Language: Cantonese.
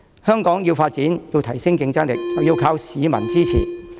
香港要發展，要提升競爭力，便要靠市民支持。